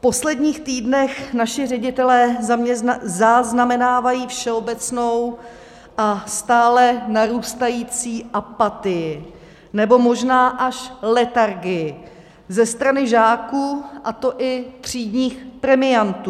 V posledních týdnech naši ředitelé zaznamenávají všeobecnou a stále narůstající apatii nebo možná až letargii ze strany žáků, a to i třídních premiantů.